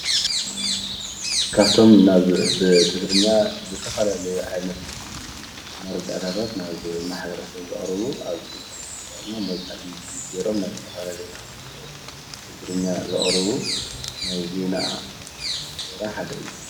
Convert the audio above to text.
ካብ እቶም ናብ ብትግርኛ ዝተፈላለዩ ዓይነት መረዳእታት ናብ ማሕበረ ሰብ ዘቅርቡ ኣብ ኢንተርኔት ተጠቆሞም ወይ ከዓ ብይቱብ ገይሮም ናብ ዝተፈላለየ ማሕበረ ሰብ ትግርኛ ዘቅርቡ ናይ ዜና ስራሕ ሓደ እዩ ፡፡